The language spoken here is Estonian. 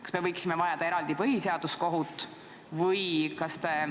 Kas me võiksime vajada eraldi põhiseaduskohut?